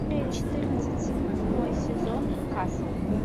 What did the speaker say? четырнадцать седьмой сезон касл